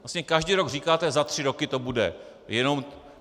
Vlastně každý rok říkáte - za tři roky to bude.